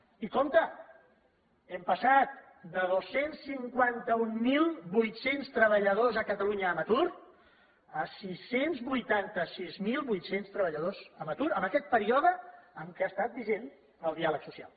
i compte hem passat de dos cents i cinquanta mil vuit cents treballadors a catalunya en atur a sis cents i vuitanta sis mil vuit cents treballadors en atur en aquest període en què ha estat vigent el diàleg social